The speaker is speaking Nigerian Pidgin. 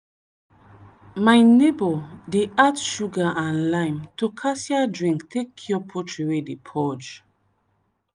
My neighbor dey add sugar and lime to cassia drink tek cure poultry wey dey purge